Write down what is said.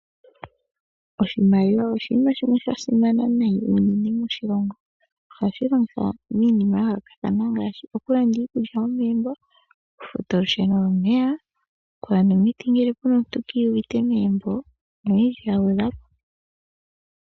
Oshimaliwa oshinima shimwe sha simana unene moshilongo. Ohashi longithwa miinima ya yoolokathana ngaashi okulanda iikulya yomegumbo, okufuta olusheno nomeya, okulanda omiti dhomuntu ngele kiiyuvite megumbo noyindji ya gwedhwa po.